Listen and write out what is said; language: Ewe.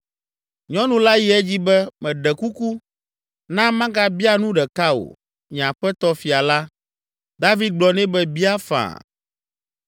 Nyɔnu la yi edzi be “Meɖe kuku, na magabia nu ɖeka wò, nye aƒetɔ fia la!” David gblɔ nɛ be, “Bia faa!”